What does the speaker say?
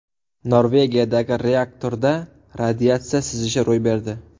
Norvegiyadagi reaktorda radiatsiya sizishi ro‘y berdi.